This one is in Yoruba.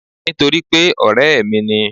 Nítorípé ọ̀rẹ́ ẹ̀ mi ni